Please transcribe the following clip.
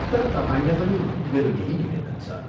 तर तपाईंलाई पनि मेरो यही निवेदन छ।